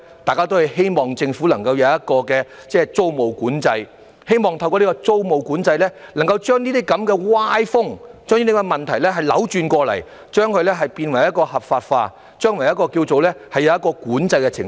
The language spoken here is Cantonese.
大家都希望政府能夠設立租務管制，並希望能透過租務管制把這類歪風和問題扭轉過來，把"劏房"變為合法化，使之將來能在管制之下。